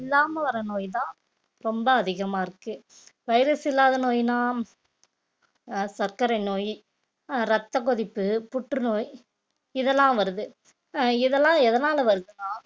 இல்லாம வார நோய்தா ரொம்ப அதிகமா இருக்கு virus இல்லாத நோய்ன்னா அஹ் சர்க்கரை நோய் அஹ் ரத்தக் கொதிப்பு புற்றுநோய் இதெல்லாம் வருது அஹ் இதெல்லாம் எதனால வருதுன்னா